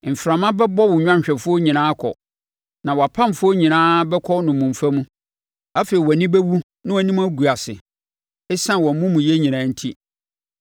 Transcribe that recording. Mframa bɛbɔ wo nnwanhwɛfoɔ nyinaa akɔ, na wʼampamfoɔ nyinaa bɛkɔ nnommumfa mu. Afei wʼani bɛwu na wʼanim agu ase ɛsiane wʼamumuyɛ nyinaa enti.